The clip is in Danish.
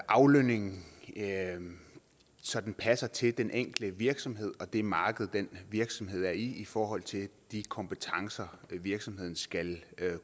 aflønningen så den passer til den enkelte virksomhed og det marked den virksomhed er i i forhold til de kompetencer virksomheden skal